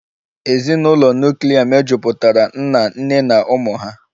Ezinụlọ nuklia mejupụtara nna, nne na ụmụ ha